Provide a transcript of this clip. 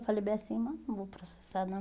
Eu falei bem assim, mas não vou processar, não.